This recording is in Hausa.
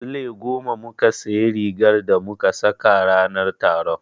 Sule goma muka sayi rigar da muka saka ranar taron.